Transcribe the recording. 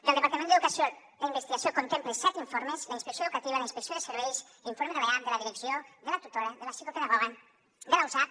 del departament d’educació la investigació contempla set informes la inspecció educativa la inspecció de serveis l’informe de l’eap de la direcció de la tutora de la psicopedagoga de la usav